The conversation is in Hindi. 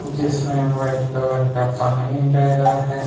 जिसमें व्हाइट कलर का पानी बेह रहा है।